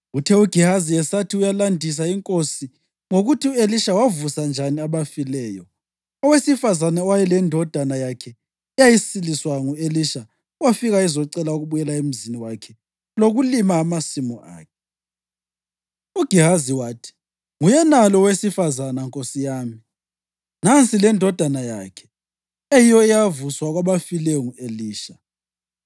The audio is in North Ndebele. Uthe uGehazi esathi uyalandisela inkosi ngokuthi u-Elisha wavusa njani abafileyo, owesifazane owayelendodana yakhe eyasiliswa ngu-Elisha wafika ezocela ukubuyela emzini wakhe lokulima amasimu akhe. UGehazi wathi, “Nguyenalo owesifazane, nkosi yami, nansi lendodana yakhe, eyiyo eyavuswa kwabafileyo ngu-Elisha.”